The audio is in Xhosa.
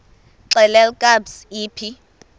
xelel kabs iphi